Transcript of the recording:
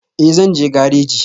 Ee, zan je gareji